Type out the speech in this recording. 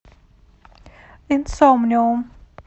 инсомниум